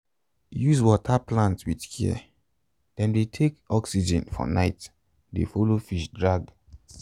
use water plants with care dem dey take oxygen for night de follow fish drag